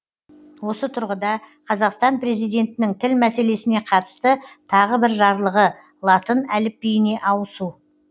осы тұрғыда қазақстан президентінің тіл мәселесіне қатысты тағы бір жарлығы латын әліпбиіне ауысу